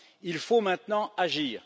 Il faut maintenant agir.